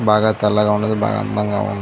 బాగా తెల్లగా ఉన్నది. బాగా అందంగా ఉన్న--